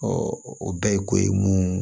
o bɛɛ ye ko ye mun